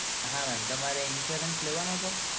હા mem તમારે insurance છે?